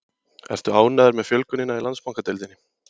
Ertu ánægður með fjölgunina í Landsbankadeildinni?